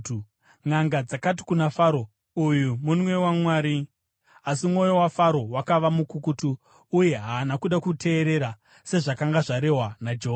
Nʼanga dzakati kuna Faro, “Uyu munwe waMwari.” Asi mwoyo waFaro wakava mukukutu uye haana kuda kuteerera, sezvakanga zvarehwa naJehovha.